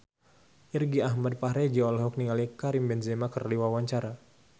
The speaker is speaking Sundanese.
Irgi Ahmad Fahrezi olohok ningali Karim Benzema keur diwawancara